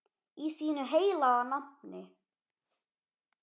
Í þínu heilaga nafni.